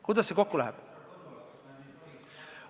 Kuidas see kokku läheb?